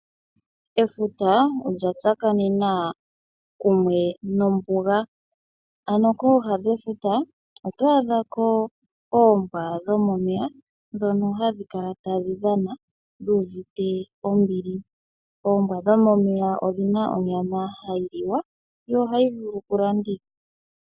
Efuta olya tsakanena kumwe nombuga, ano kooha dhefuta oto adhako oombwa dhomomeya ndhono hadhi kala tadhi dhana dhu uvite ombili. Oombwa dhomomeya odhina onyama hayi liwa yo ohayi vulu kulandithwa.